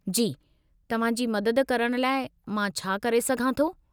जी, तव्हां जी मदद करण लाइ मां छा करे सघां थो?